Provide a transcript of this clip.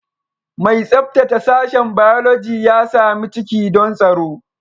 Mai tsabtace sashen Biology ya sami ciki don tsaro